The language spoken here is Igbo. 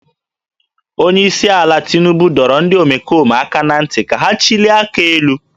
Onye isi ala Tinubu dọrọ ndị omekome aka ná ntị ka ha chịlie aka elu